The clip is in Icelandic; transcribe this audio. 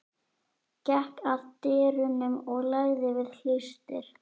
Gekk að dyrunum og lagði við hlustir.